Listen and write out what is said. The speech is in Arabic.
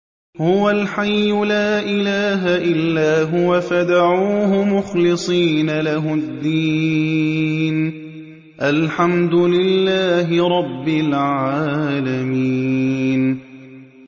هُوَ الْحَيُّ لَا إِلَٰهَ إِلَّا هُوَ فَادْعُوهُ مُخْلِصِينَ لَهُ الدِّينَ ۗ الْحَمْدُ لِلَّهِ رَبِّ الْعَالَمِينَ